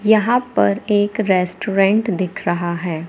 यहां पर एक रेस्टोरेंट दिख रहा है।